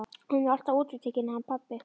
Hann er alltaf útitekinn hann pabbi.